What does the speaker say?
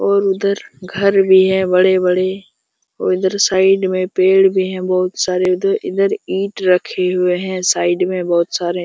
और उधर घर भी है बड़े - बड़े और इधर साइड में पेड़ भी बहुत सारे उधर इधर ईट रखे हुए है साइड्‌ बहुत सारे ।